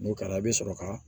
N'o kɛra i bɛ sɔrɔ ka